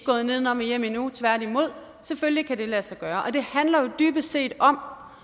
gået nedenom og hjem endnu tværtimod selvfølgelig kan det lade sig gøre det handler jo dybest set om